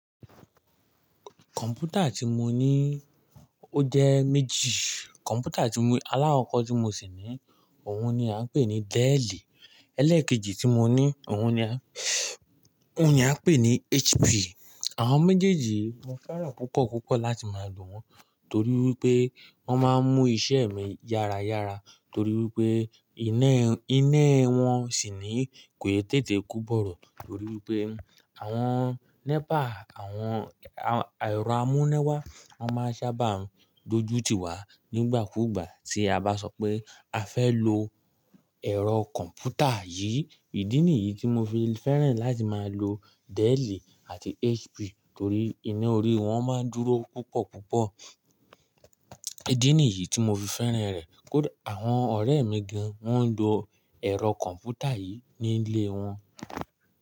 Kọ̀m̀pútà tí mo ní o jẹ́ méjì. Kọ̀m̀pútà alákọ̀kọ tí mo ṣì ní, òun ni à ń pè ní Dell. Ẹlẹ́ẹ̀kejì tí mo ní, òun ni á ń pè ní HP. Àwọn méjéjì mo fẹ́ràn púpọ̀, púpọ̀ láti máa lò wọ́n torí pé wọ́n máa ń mú iṣẹ́ mi yára yára torí wipé inẹ́ wọn sì ní kò n tètè kú bọ̀rọ̀ torí wipé àwọn népà, àwọn ẹ̀rọ amúnẹ́wá, wọ́n máa ń sábà dojú tiwà nígbàkúùgbà tí a bá sọ pé a fẹ́ lo ẹ̀rọ kọ̀m̀pútà yìí. Ìdí nìyí tí mo fi fẹ́ràn láti máa lo Dell àti HP torí inẹ́ orí wọ́n máa ń dúró púpọ̀, púpọ̀. Ìdí nìyí tí mo fi fẹ́ràn rẹ̀. Àwọn ọ̀rẹ́ mi gan, wọ́n ń lo ẹ̀rọ kọ̀m̀pútà yìí ní ilé wọn.